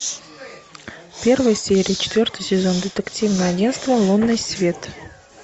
первая серия четвертый сезон детективное агентство лунный свет